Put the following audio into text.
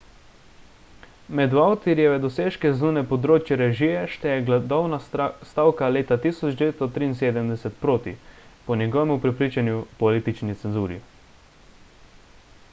med vautierjeve dosežke zunaj področja režije šteje gladovna stavka leta 1973 proti po njegovemu prepričanju politični cenzuri